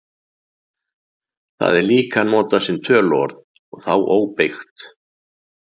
Það er líka notað sem töluorð og þá óbeygt.